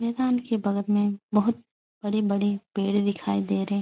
मेदान के बगल में बहोत बड़े-बड़े पेड़ दिखाई दे रहे --